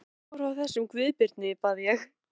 Segðu mér eitthvað frá þessum Guðbirni, bað ég.